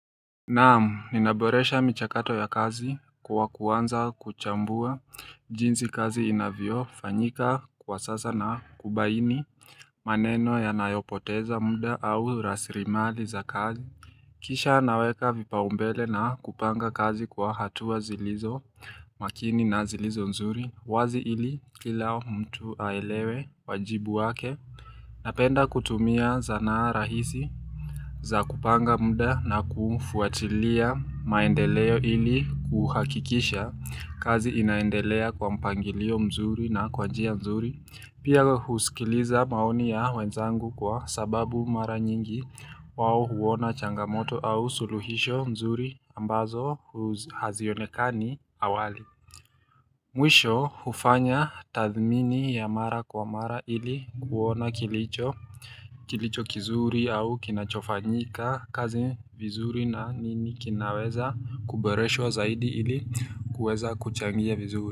Naam, ninaboresha michakato ya kazi kwa kuanza kuchambua jinsi kazi inavyofanyika kwa sasa na kubaini maneno yanayopoteza muda au rasilmali za kazi. Kisha naweka vipaumbele na kupanga kazi kwa hatua zilizo makini na zilizo nzuri. Wazi ili kila mtu aelewe wajibu wake. Napenda kutumia zanara hizi za kupanga muda na kufuatilia maendeleo ili kuhakikisha kazi inaendelea kwa mpangilio mzuri na kwa njia mzuri. Pia huskiliza maoni ya wenzangu kwa sababu mara nyingi wao huona changamoto au suluhisho mzuri ambazo hazionekani awali. Mwisho hufanya tathmini ya mara kwa mara ili kuona kilicho, kilicho kizuri au kinachofanyika kazi vizuri na nini kinaweza kuboreshwa zaidi ili kuweza kuchangia vizuri.